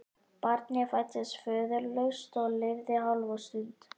Barnið fæddist föðurlaust og lifði hálfa stund.